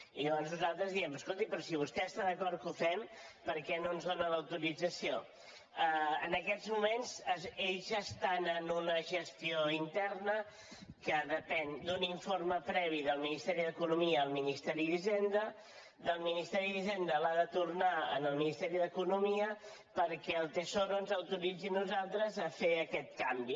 i llavors nosaltres diem escolti però si vostè està d’acord que ho fem per què no ens en dóna l’autorització en aquests moments ells estan en una gestió interna que depèn d’un informe previ del ministeri d’economia al ministeri d’hisenda el ministeri d’hisenda l’ha de tornar al ministeri d’economia perquè el tesoro ens autoritzi a nosaltres a fer aquest canvi